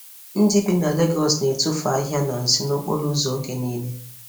Ndị bi na Lagos na-etufu ahịhịa na nsị n'okporo ụzọ oge niile.